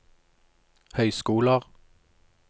høyskoler